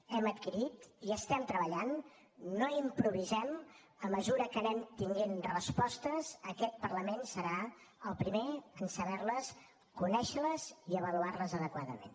hem adquirit hi estem treballant no improvisem a mesura que anem tenint respostes aquest parlament serà el primer en saber les conèixer les i avaluar les adequadament